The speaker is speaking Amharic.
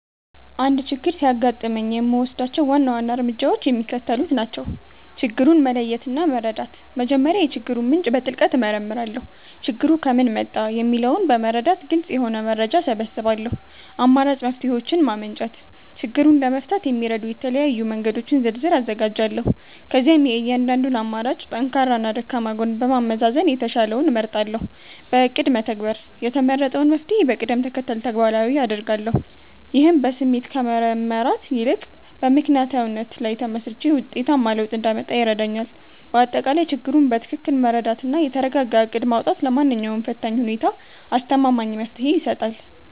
አንድ ችግር ሲያጋጥመኝ የምወስዳቸው ዋና ዋና እርምጃዎች የሚከተሉት ናቸው፦ ችግሩን መለየትና መረዳት፦ መጀመሪያ የችግሩን ምንጭ በጥልቀት እመረምራለሁ። ችግሩ ከምን መጣ? የሚለውን በመረዳት ግልጽ የሆነ መረጃ እሰበስባለሁ። አማራጭ መፍትሔዎችን ማመንጨት፦ ችግሩን ለመፍታት የሚረዱ የተለያዩ መንገዶችን ዝርዝር አዘጋጃለሁ። ከዚያም የእያንዳንዱን አማራጭ ጠንካራና ደካማ ጎን በማመዛዘን የተሻለውን እመርጣለሁ። በእቅድ መተግበር፦ የተመረጠውን መፍትሔ በቅደም ተከተል ተግባራዊ አደርጋለሁ። ይህም በስሜት ከመመራት ይልቅ በምክንያታዊነት ላይ ተመስርቼ ውጤታማ ለውጥ እንዳመጣ ይረዳኛል። ባጠቃላይ፣ ችግሩን በትክክል መረዳትና የተረጋጋ እቅድ ማውጣት ለማንኛውም ፈታኝ ሁኔታ አስተማማኝ መፍትሔ ይሰጣል።